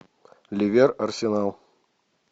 ливер арсенал